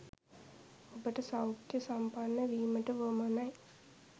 ඔබට සෞඛ්‍ය සම්පන්න වීමට වුවමනයි